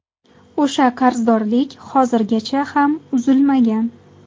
O‘sha qarzdorlik hozirgacha ham uzilmagan.